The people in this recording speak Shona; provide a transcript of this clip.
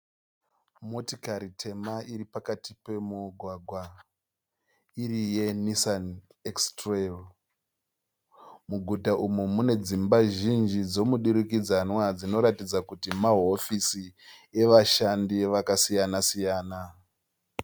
Motikari tema iripakati pemugwagwa iri yeNisani Ekisitireyo. Muguta umu mune dzimba zhinji dzomudurikidzanwa dzinoratidza kuti mahofisi evashandi vakasiyana-siyana.